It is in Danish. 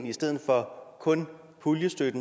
i stedet for kun en puljestøtte